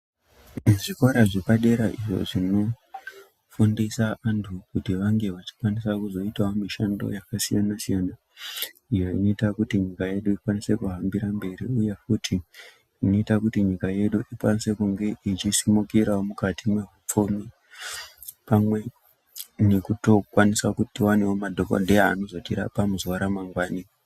Zvikora zvepadera izvo zvinofundisa antu kuti vange vachikwanisa kuzoitawo mishando yakasiyana siyana iyo inoita kuti nyika yedu ikwanise kuhambira mberi uye futi inoita kuti nyika yedu ikwanise kunge ichisimukirawo mukati mwehupfumi pamwe nekutokwanisawo kuti tiwane madhokodheya anozotirapa muzuva ramangwanani .